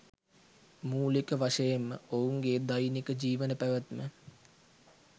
මූලික වශයෙන්ම ඔවුන්ගේ දෛනික ජිවන පැවත්ම